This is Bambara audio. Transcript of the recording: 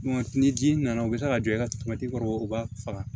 Ni ji nana u bɛ kila ka don i ka kɔrɔ u b'a faga